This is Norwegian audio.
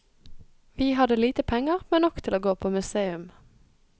Vi hadde lite penger, men nok til å gå på museum.